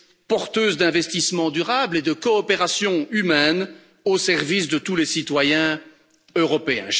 porteuses d'investissements durables et de coopération humaine au service de tous les citoyens européens.